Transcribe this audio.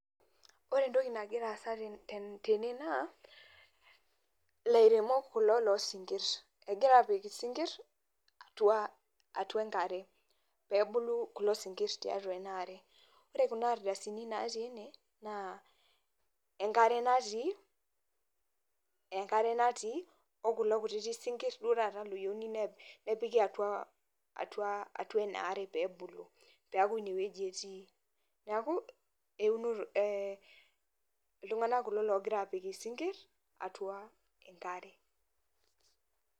Ore entoki nagiraasa tene naa lairemok kulo loosinkirr. Egiraapik isinkirr atuaa atua enkare, peebulu kulo sinkirr tiatua enaare. Kore kuna ardasini natii ine naa enkare natii, enkare natii o kulo kutiti sinkirr duo tata looyouni nepiki atua, atuaa atua inaare peebulu. Peaku inewueji etii. Neaku eunoto eeh iltung'ana kulo loogira apik isinkirr atua enkare.